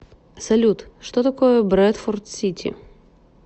салют что такое брэдфорд сити